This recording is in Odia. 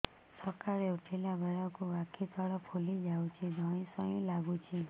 ସକାଳେ ଉଠିଲା ବେଳକୁ ଆଖି ତଳ ଫୁଲି ଯାଉଛି ଧଇଁ ସଇଁ ଲାଗୁଚି